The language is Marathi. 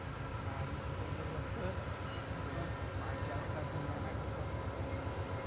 आम्ही तिथे गेलो सर बाकी असला धिंगाणा घातला होता ना